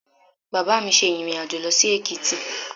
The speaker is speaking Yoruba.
Bàbá mi ṣe ìrìn-àjò lọ sí Èkìtì